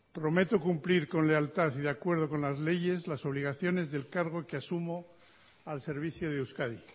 prometo cumplir con lealtad y de acuerdo con las leyes las obligaciones del cargo que asumo al servicio de euskadi